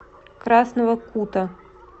красного кута